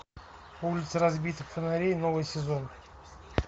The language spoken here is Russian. улица разбитых фонарей новый сезон